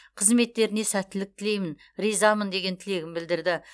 қызметтеріне сәттілік тілеймін ризамын деген тілегін білдірді